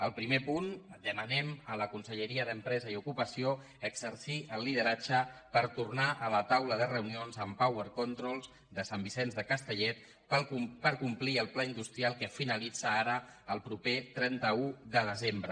el primer punt demanem a la conselleria d’empresa i ocupació exercir el lideratge per tornar a la taula de reunions amb power controls de sant vicenç de castellet per complir el pla industrial que finalitza ara el proper trenta un de desembre